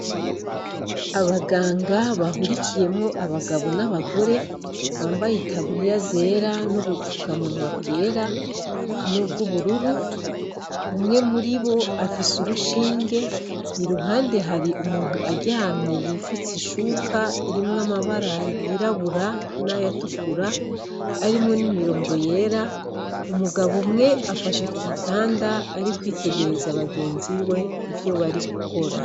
Abaganga bahurikiyemwo abagabo n'abagore bambaye itaburiya zera n'ibupfukamunwa bwera nubw'ubururu, umwe muribo afise urushinge iruhande hari umuntu aryamye yifutse ishuka irimwo amabara yirabura n'ayatukura arimwo n'imirongo yera, umugabo umwe afashe kugitanda arika ari kwitegereza bagenziwe ivyo bari gukora.